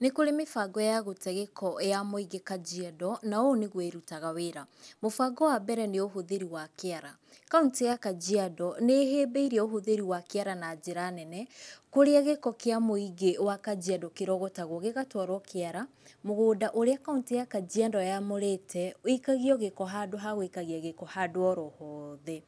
Nĩ kũrĩ mĩbango ya gũte gĩko ya mwĩingĩ Kajiando, na ũũ nĩguo ĩrutaga wĩra. Mũbango wa mbere nĩ ũhũthĩri wa kĩara. Kauntĩ ya Kajiando nĩ ĩhĩmbĩirie ũhũthĩri wa kĩara na njĩra nene, kũrĩa gĩko kĩa mũingĩ wa Kajiando kĩrogotagwo gĩgatwarwo kĩara, mũgũnda ũrĩa kauntĩ ya kajiando yamũrĩte, wĩikagio gĩko handũ ha gwĩikagia gĩko handũ oro hothe.